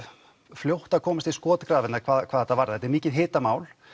fljótt að komast í skotgrafirnar hvað þetta varðar þetta er mikið hitamál